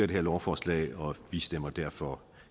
det her lovforslag og vi stemmer derfor